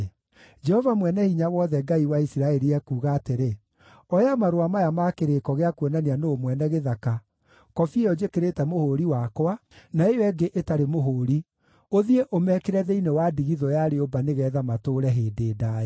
‘Jehova Mwene-Hinya-Wothe, Ngai wa Isiraeli, ekuuga atĩrĩ: Oya marũa maya ma kĩrĩĩko gĩa kuonania nũũ mwene gĩthaka, kobi ĩyo njĩkĩrĩte mũhũũri wakwa, na ĩyo ĩngĩ ĩtarĩ mũhũũri, ũthiĩ ũmekĩre thĩinĩ wa ndigithũ ya rĩũmba nĩgeetha matũũre hĩndĩ ndaaya.